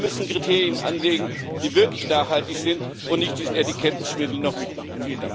Wir müssen Kriterien anlegen, die wirklich nachhaltig sind, und nicht diesen Etikettenschwindel noch mitmachen.